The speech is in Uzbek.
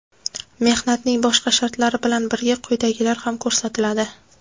mehnatning boshqa shartlari bilan birga quyidagilar ham ko‘rsatiladi:.